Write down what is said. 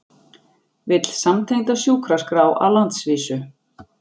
Vill samtengda sjúkraskrá á landsvísu